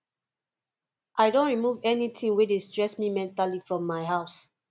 i don remove anything wey dey stress me mentally from my house